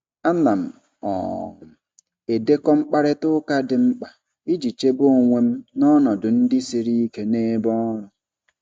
Ana m um edekọ mkparịta ụka dị mkpa iji chebe onwe m n'ọnọdụ ndị siri ike n'ebe ọrụ.